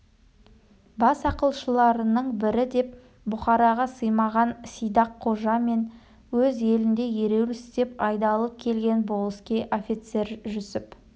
бас ақылшыларының бірі деп бұқараға сыймаған сидақ қожа мен өз елінде ереуіл істеп айдалып келген болыскей офицер жүсіп